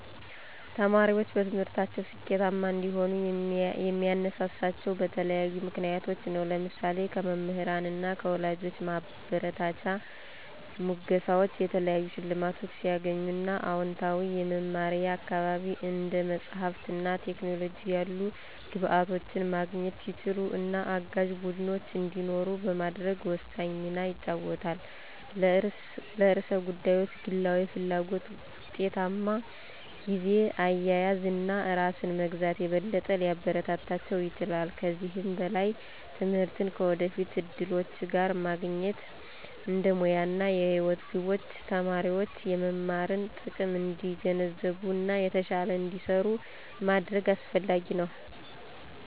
ተማሪዎች በትምህርታቸው ስኬታማ እንዲሆኑ የሚያነሳሳቸው በተለያዩ ምክንያቶች ናቸው። ለምሳሌ:- ከመምህራን እና ከወላጆች ማበረታቻ፣ ሙገሳወች፣ የተለያዩ ሸልማቶች ሲያገኙ እና አወንታዊ የመማሪያ አካባቢ፣ እንደ መጽሐፍት እና ቴክኖሎጂ ያሉ ግብዓቶችን ማግኘት ሲችሉ እና አጋዥ ቡድኖች እንዲኖሩ በማድረግ ወሳኝ ሚና ይጫወታል። ለርዕሰ ጉዳዮች ግላዊ ፍላጎት፣ ውጤታማ ጊዜ አያያዝ እና ራስን መግዛት የበለጠ ሊያበረታታቸው ይችላል። ከዚህም በላይ ትምህርትን ከወደፊት እድሎች ጋር ማገናኘት እንደ ሙያ እና የህይወት ግቦች ተማሪዎች የመማርን ጥቅም እንዲገነዘቡ እና የተሻለ እንዲሰሩ ማድረግ አሰፍላጊ ነው።